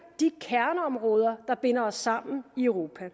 de kerneområder der binder os sammen i europa